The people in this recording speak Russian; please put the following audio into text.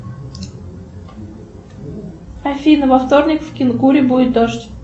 афина во вторник в кинкуре будет дождь